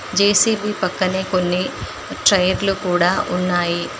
JCB పక్కనే కొన్ని టైర్లు కూడా ఉన్నాయి.